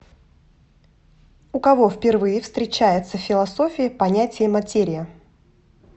у кого впервые встречается в философии понятие материя